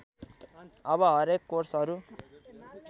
अब हरेक कोर्सहरू